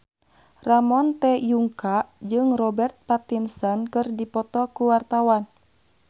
Ramon T. Yungka jeung Robert Pattinson keur dipoto ku wartawan